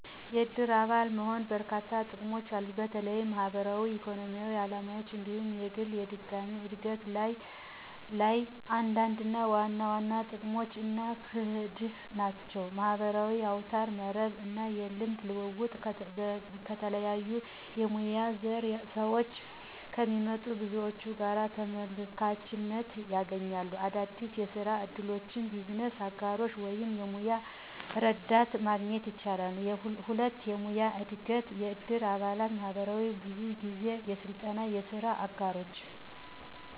የእድር አባል መሆን በርካሽ ጥቅሞች አሉት፣ በተለይም ማህበራዊ፣ ኢኮኖሚያዊ ዓላማዎች እንዲሁም የግል የድጋሚው እድገት ላይ። አንዳንድ ዋና ዋና ጥቅሞች አና ክንድህ ናቸው 1. የማህበራዊ አውታረ መረብ እና የልምድ ልውውጥ - ከተለያዩ የሙያ ዘር ስዎች ከሚመጡ ብዙዎች ጋር ተመልካችነት ያገኛሉ። - አዳዲስ የስራ እድሎች፣ የቢዝነስ አጋሮች ወይም የሙያ እርዳታ ማግኘት ይችላሉ። 2. የሙያዊ እድገት** - የእድር አባላት ማህበራት ብዙ ጊዜ የስልጠና፣ የስራ አጋሮች፣